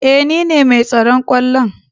Eh nine mai tsaron kwallon.